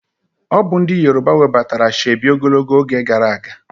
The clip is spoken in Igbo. Obu ndi yoruba webatara Ashoebi ogologo oge gara aga